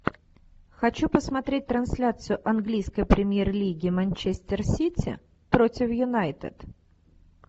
хочу посмотреть трансляцию английской премьер лиги манчестер сити против юнайтед